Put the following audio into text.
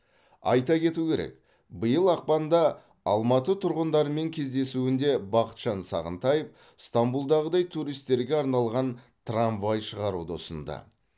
айта кету керек биыл ақпанда алматы тұрғындарымен кездесуінде бақытжан сағынтаев стамбулдағыдай туристерге арналған трамвай шығаруды ұсынды